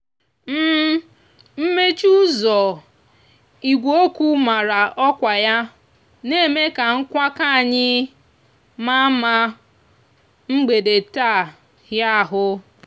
mmechi úzò igwe okwu mara òkwa ya n'eme ka nkwakò anyi mama mgbede taa hia ahú.